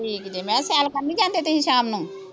ਠੀਕ ਜੇ, ਮੈਂ ਸੈਰ ਕਰਨ ਨਹੀਂ ਜਾਂਦੇ ਤੁਸੀਂ ਸ਼ਾਮ ਨੂੰ